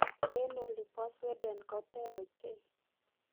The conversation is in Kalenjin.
en oli bo Sweden koter ochei